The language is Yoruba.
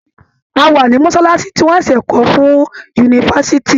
A wà ní mọ́ṣáláṣí tí wọ́n ṣẹ̀ṣẹ̀ kọ́ fún yunifásitì.